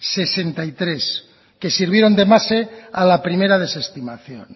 que sirvieron de base a la primera desestimación